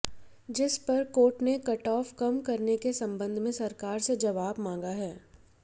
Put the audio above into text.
जिस पर कोर्ट ने कटऑफ कम करने के संबंध में सरकार से जवाब मांगा है